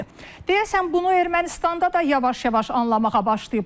Deyəsən bunu Ermənistanda da yavaş-yavaş anlamağa başlayıblar.